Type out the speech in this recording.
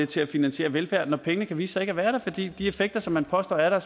til at finansiere velfærd for pengene kan vise sig ikke at være der fordi de effekter som man påstår er der